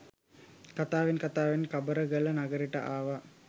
කතාවෙන් කතාවෙන් කබරගල නගරෙට ආව.